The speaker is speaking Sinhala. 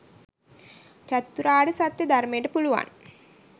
චතුරාර්ය සත්‍යය ධර්මයට පුළුවන්